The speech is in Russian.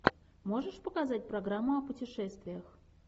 можешь показать программу о путешествиях